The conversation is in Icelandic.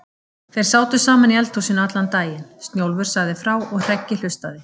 Þeir sátu saman í eldhúsinu allan daginn, Snjólfur sagði frá og Hreggi hlustaði.